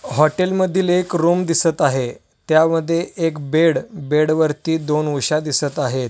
हॉटेलमधील एक रूम दिसत आहे त्यामध्ये एक बेड बेडवरती दोन उश्या दिसत आहे.